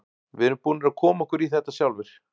Við erum búnir að koma okkur í þetta sjálfir.